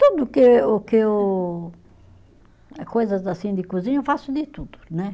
Tudo que o que eu, coisas assim de cozinha, eu faço de tudo, né?